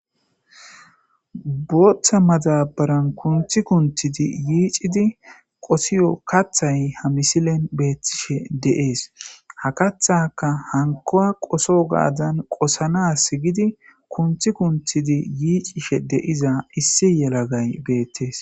Bootha madabaran kunthi kunhhid yiic'id qosiyo kathay ha misilen betishe de'es. Ha kathaka hankuwa qosogadan qosanas gidi kunthi kunthid yiicishe diza issi yelagay beetes.